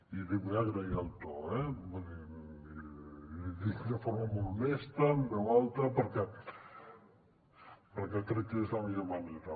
i li vull agrair el to eh vull dir l’hi dic de forma molt honesta en veu alta perquè crec que és la millor manera